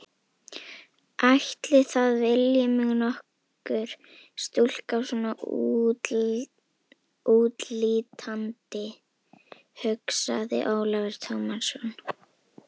Ætli það vilji mig nokkur stúlka svona útlítandi, hugsaði Ólafur Tómasson.